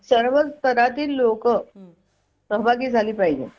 सर्व स्तरातील लोक सहभागी झाली पाहिजे